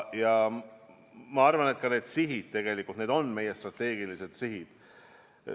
Ja ma arvan, et need sihid tegelikult on meie strateegilised sihid.